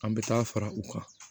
An bɛ taa fara u kan